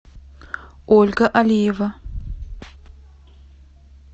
ольга алиева